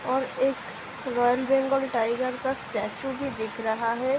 और एक royal Bengal tiger का स्‍टैच्‍यू भी दिख रहा है ।